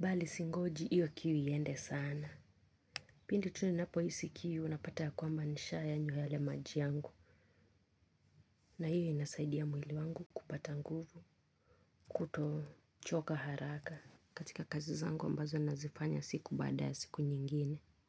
Bali singoji hiyo kiu iende sana. Pindi tu ninapohisi kiu napata ya kwamba nishayanwa yale maji yangu na hiyo inasaidia mwili wangu kupata nguvu kutochoka haraka. Katika kazi zangu ambazo nazifanya siku baada ya siku nyingine.